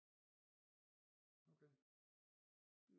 Okay